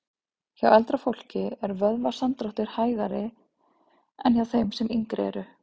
Hjá eldra fólki er vöðvasamdráttur hægari en hjá þeim sem yngri eru.